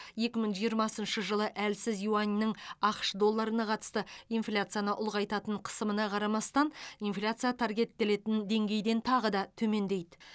екі мың жиырмасыншы жылы әлсіз юаньнің ақш долларына қатысты инфляцияны ұлғайтатын қысымына қарамастан инфляция таргеттелетін деңгейден тағы да төмендейді